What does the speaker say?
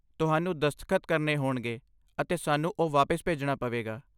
ਤੁਹਾਨੂੰ ਦਸਤਖਤ ਕਰਨੇ ਹੋਣਗੇ ਅਤੇ ਸਾਨੂੰ ਉਹ ਵਾਪਿਸ ਭੇਜਣਾ ਪਵੇਗਾ।